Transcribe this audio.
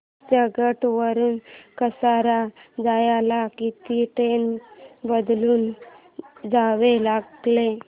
चर्चगेट वरून कसारा जायला किती ट्रेन बदलून जावे लागेल